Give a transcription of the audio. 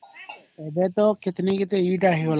ଏବେ ତ କିଟିନୀ କିଟିନୀ କି ଟା ହେଇଗଲାଣି